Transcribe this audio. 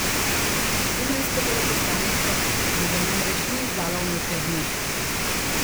Dunajsko veleposlaništvo mu ga namreč ni izdalo v nekaj dneh.